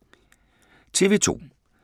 TV 2